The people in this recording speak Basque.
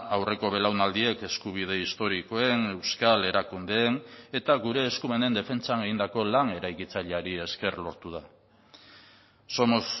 aurreko belaunaldiek eskubide historikoen euskal erakundeen eta gure eskumenen defentsan egindako lan eraikitzaileari esker lortu da somos